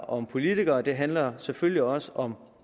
og politikerne det handler selvfølgelig også om